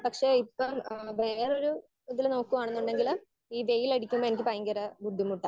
Speaker 1 പക്ഷെ ഇപ്പൊ വേറൊരു ഇതില് നോക്കുവാണെന്നുണ്ടെങ്കില് ഈ വെയിൽ അടിക്കുമ്പോ എനിക്ക് ഭയങ്കര ബുദ്ധിമുട്ടാ.